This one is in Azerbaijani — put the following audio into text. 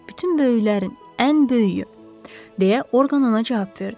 Bütün böyüklərin ən böyüyü deyə Orqan ona cavab verdi.